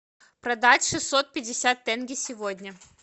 продать шестьсот пятьдесят тенге сегодня